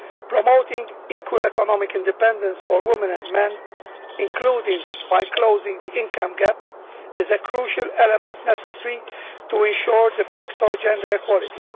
Promoting equal economic independence for women and men, including by closing the income gap, is a crucial element necessary to ensure de facto gender equality.